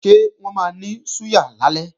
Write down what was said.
Ṣé wọ́n máa ní súyà lálẹ́?